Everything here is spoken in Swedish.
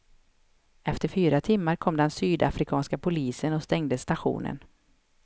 Efter fyra timmar kom den sydafrikanska polisen och stängde stationen.